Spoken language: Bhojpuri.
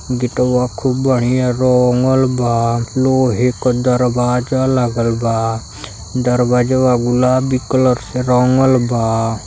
गेटवा खूब बढ़िया रंगल बा। लोहे क दरवाजा लागल बा। दरवाजवा गुलाबी कलर से रंगल बा।